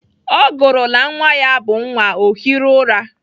Ọ gụrụla nwa ya abụ nwa, ọ hiri ụra.